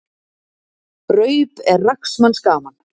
Raup er rags manns gaman.